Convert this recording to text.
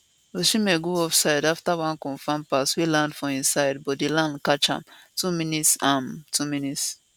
osimhen go offside afta one confam pass wey land for im side but di lines catch am 2mins am 2mins